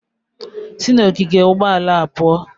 Sị n'ogige ụgbọala a pụọ!